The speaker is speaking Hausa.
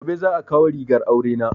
Gobe za a kawo rigar aure na